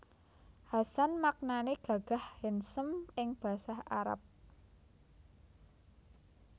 Hasan maknané gagah handsome ing Basa Arab